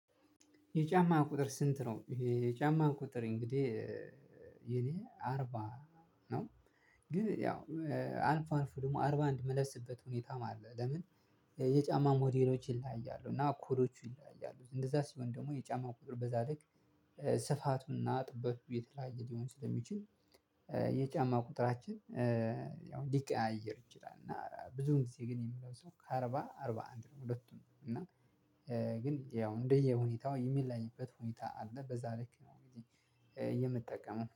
የጫማ ቁጥር ስንት ነው? ይሄ የጫማ ቁጥር እንግዲህ የኔ አርባ ነው። ግን ያው አልፎ አልፎ ደግሞ አርባ አንድ ምለብስበት ሁኔታም አለ። ለምን? የጫማ ሞዴሎች ይለያያሉ እና ኩሮቹ ይለያያሉ እንደዛ ሲሆን ደግሞ የጫማው ቁጥር በዛ ልክ ስፋቱና ጥበቱ የተለያየ ሊሆን ስለሚችል የጫማ ቁጥራችን ያው ሊቀያየር እንችላለን። እና ብዙን ጊዜ ግን የምለብሰው ከአርባ አርባ አንድ ነው። ሁለቱም እና ግን ያው እንደየ ሁኔታው የሚለይበት ሁኔታ አለ። በዛ ልክ ነው እንግዲህ የምጠቀመው